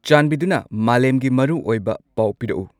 ꯆꯥꯟꯕꯤꯗꯨꯅ ꯃꯥꯂꯦꯝꯒꯤ ꯃꯔꯨ ꯑꯣꯏꯕ ꯄꯥꯎ ꯄꯤꯔꯛꯎ